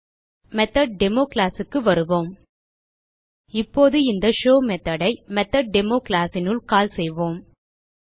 மெத்தொட்டேமோ classக்கு வருவோம் இப்போது இந்த ஷோவ் மெத்தோட் ஐ மெத்தொட்டேமோ classனுள் கால் செய்வோம்